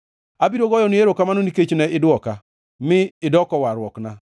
Abiro goyoni erokamano, nikech ne idwoka; mi idoko warruokna.